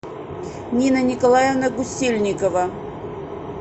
нина николаевна гусельникова